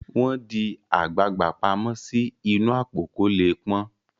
wón di àgbagbà pàmò sí inú Àpò kò lẹ pọn.